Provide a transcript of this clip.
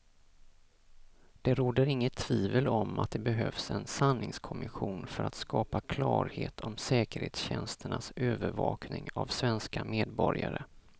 Det råder inget tvivel om att det behövs en sanningskommission för att skapa klarhet om säkerhetstjänsternas övervakning av svenska medborgare.